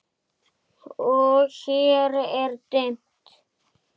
Og hér er dimmt.